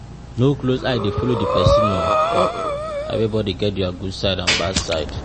No close eye de follow di person oh ah everybody get their good side and bad side